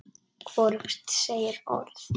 Hvorug segir orð.